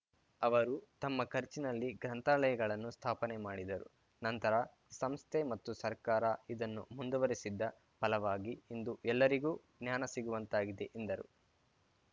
ಅವರು ತಮ್ಮ ಖರ್ಚಿನಲ್ಲಿ ಗ್ರಂಥಾಲಯಗಳನ್ನು ಸ್ಥಾಪನೆ ಮಾಡಿದರು ನಂತರ ಸಂಸ್ಥೆ ಮತ್ತು ಸರ್ಕಾರ ಇದನ್ನು ಮುಂದುವರಿಸಿದ್ದ ಫಲವಾಗಿ ಇಂದು ಎಲ್ಲರಿಗೂ ಜ್ಞಾನ ಸಿಗುವಂತಾಗಿದೆ ಎಂದರು